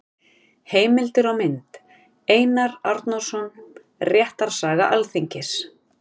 Heimildir og mynd: Einar Arnórsson: Réttarsaga Alþingis.